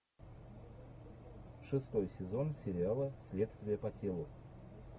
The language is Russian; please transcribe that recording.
шестой сезон сериала следствие по телу